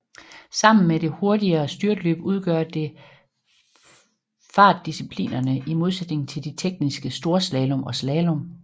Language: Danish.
Sammen med det hurtigere styrtløb udgør det fartdisciplinerne i modsætningen til de tekniske storslalom og slalom